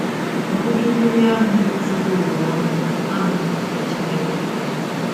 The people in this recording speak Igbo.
OJUJU Mmiri ahụ zuru ụwa ọnụ abụghị ọdachi meere onwe ya.